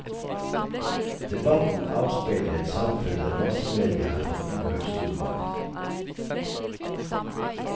Debatten avspeiler et samfunn der massemedia har fått uhørt stor makt.